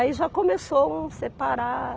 Aí já começou um separar...